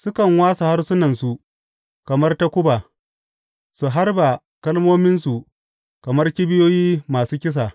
Sukan wāsa harsunansu kamar takuba su harba kalmominsu kamar kibiyoyi masu kisa.